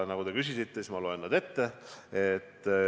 Kuna te küsisite, siis ma loen nad ette.